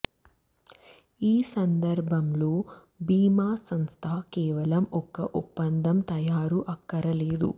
ఈ సందర్భంలో భీమా సంస్థ కేవలం ఒక ఒప్పందం తయారు అక్కరలేదు